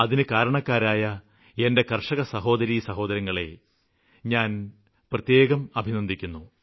അതിന് കാരണക്കാരായ എന്റെ കര്ഷക സഹോദരീസഹോദരങ്ങളെ ഞാന് പ്രത്യേകം അഭിനന്ദിക്കുന്നു